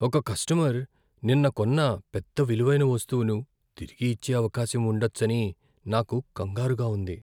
ఒక కస్టమర్ నిన్న కొన్న పెద్ద విలువైన వస్తువును తిరిగి ఇచ్చే అవకాశం ఉండచ్చని నాకు కంగారుగా ఉంది.